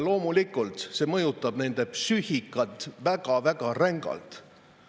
Loomulikult mõjutab see nende psüühikat väga-väga rängalt.